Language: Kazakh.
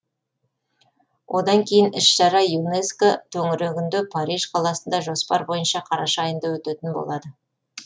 одан кейін іс шара юнеско төңірегінде париж қаласында жоспар бойынша қараша айында өтетін болады